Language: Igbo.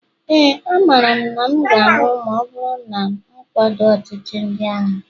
éè, amaara m na m ga-anwụ ma ọ bụrụ na m akwado ọchịchị ndị agha